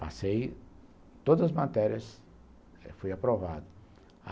Passei todas as matérias, fui aprovado.